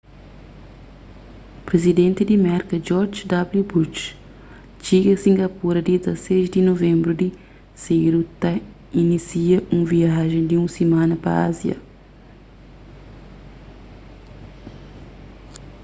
prizidenti di merka george w bush txiga singapura dia 16 di nuvenbru di sedu ta inísia un viajen di un simana pa ázia